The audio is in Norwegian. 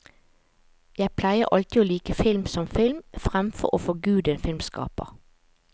Jeg pleier alltid å like film som film fremfor å forgude en filmskaper.